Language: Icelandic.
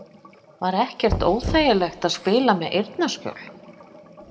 Var ekkert óþægilegt að spila með eyrnaskjól??